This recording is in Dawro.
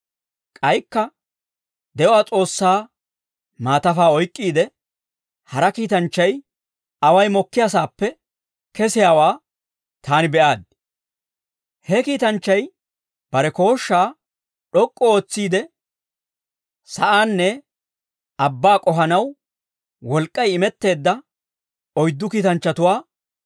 K'aykka de'uwaa S'oossaa maatafaa oyk'k'iide hara kiitanchchay away mokkiyaasaappe kesiyaawaa taani be'aaddi. He kiitanchchay bare kooshshaa d'ok'k'u ootsiide, sa'aanne abbaa k'ohanaw wolk'k'ay imetteedda oyddu kiitanchchatuwaa